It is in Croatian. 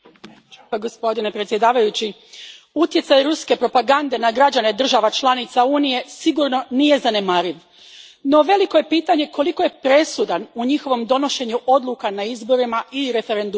Gospodine predsjedniče, utjecaj ruske propagande na građane država članica Unije sigurno nije zanemariv, no veliko je pitanje koliko je presudan u njihovom donošenju odluka na izborima i referendumima.